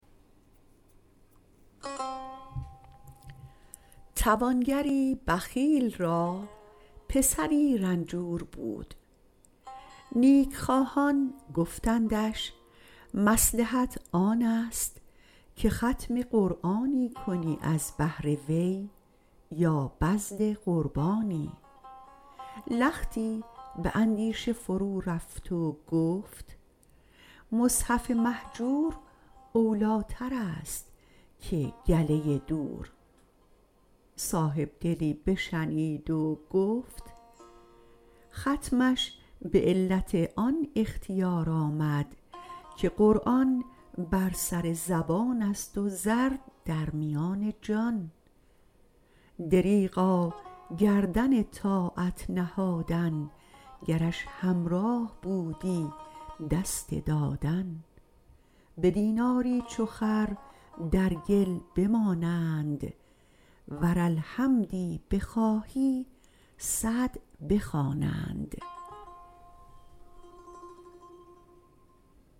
توانگری بخیل را پسری رنجور بود نیکخواهان گفتندش مصلحت آن است که ختم قرآنی کنی از بهر وی یا بذل قربانی لختی به اندیشه فرورفت و گفت مصحف مهجور اولیتر است که گله دور صاحبدلی بشنید و گفت ختمش به علت آن اختیار آمد که قرآن بر سر زبان است و زر در میان جان دریغا گردن طاعت نهادن گرش همراه بودی دست دادن به دیناری چو خر در گل بمانند ور الحمدی بخواهی صد بخوانند